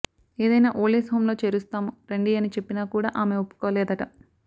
ఏదైనా old age home లో చేరుస్తాము రండి అని చెప్పినా కూడా ఆమె ఒప్పుకోలేదట